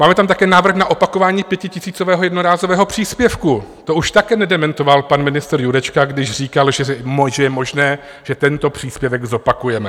Máme tam také návrh na opakování pětitisícového jednorázového příspěvku, to už také nedementoval pan ministr Jurečka, když říkal, že je možné, že tento příspěvek zopakujeme.